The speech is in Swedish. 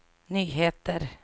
nyheter